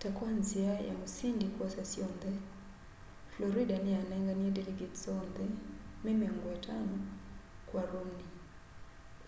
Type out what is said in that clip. ta kwa nzia ya musindi kwosa syonthe florida niyanenganie delegates oonthe me miongo itano kwa romney